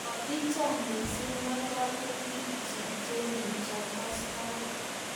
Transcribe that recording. kokicham mising' ng'alalutikchich che kikastoi